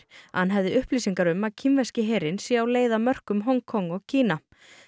að hann hefði upplýsingar um að kínverski herinn sé á leið að mörkum Hong Kong og Kína